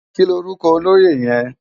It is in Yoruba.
Kilórúkò ólóyé yèn?